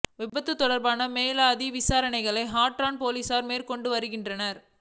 விபத்து தொடர்பான மேலதிக விசாரணைகளை ஹற்றன் பொலிஸார் மேற்கொண்டு வருகின்றனர்